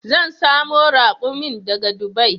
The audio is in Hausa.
Zan samo rakumin daga dubai